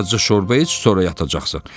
Bir azca şorba iç, sonra yatacaqsan.